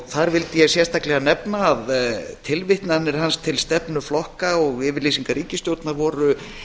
þar vildi ég sérstaklega nefna að tilvitnanir hans til stefnu flokka og yfirlýsinga ríkisstjórnarinnar voru